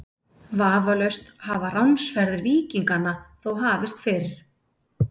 Vafalaust hafa ránsferðir víkinganna þó hafist fyrr.